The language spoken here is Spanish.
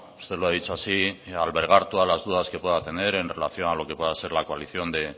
usted lo ha dicho así en albergar todas las dudas que pueda tener en relación a lo que pueda ser la coalición de